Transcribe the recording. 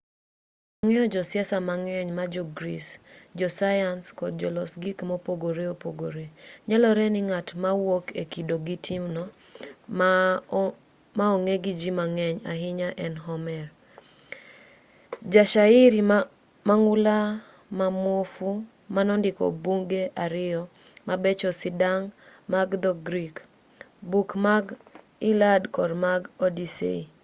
wang'eyo josiasa mang'eny ma jo-greece josayans kod jolos gik mopogore opogore nyalore ni ng'at mawuok e kido gi timno ma ong'e gi ji mang'eny ahinya en homer ja shairi mang'ula ma muofu manondiko buge ariyo mabecho sidang' mag dho-grik buk mar iliad kod mar odyssey